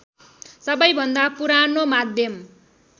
सबैभन्दा पुरानो माध्यम